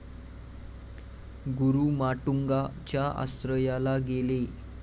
गुरु माटुंगा च्या आश्रयाला गेले